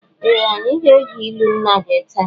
Ee! Anyị ga-ege ilu nna gị taa.